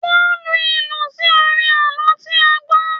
Wọ́n lu ìlù sí orin àlọ́ tí a gbọ́.